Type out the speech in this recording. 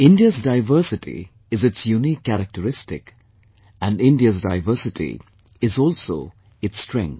India's diversity is its unique characteristic, and India's diversity is also its strength